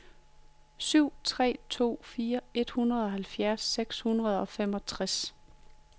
syv tre to fire enoghalvfjerds seks hundrede og femogtres